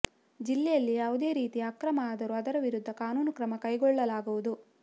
ಜಿಲ್ಲೆಯಲ್ಲಿ ಯಾವುದೇ ರೀತಿಯ ಅಕ್ರಮ ಆದರೂ ಅದರ ವಿರುದ್ಧ ಕಾನೂನು ಕ್ರಮ ಕೈಗೊಳ್ಳಲಾಗುವುದು